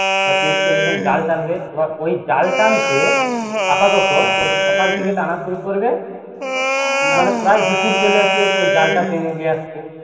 ধরে তিরিশ চল্লিশ জন জাল টানবে এবার ওই জাল টানতে আপাতত ওই যে সকল থেকে টানা শুরু করবে মানে প্রায় দুপুর ওই জালটা টেনে নিয়ে আসতে